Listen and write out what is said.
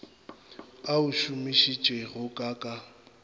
a o šomišitšego ka ka